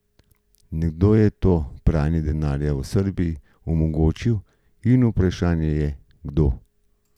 Nekdo je to pranje denarja v Srbiji omogočil in vprašanje je, kdo?